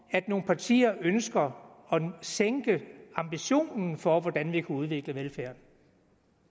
at nogle partier ønsker at sænke ambitionen for hvordan vi kan udvikle velfærden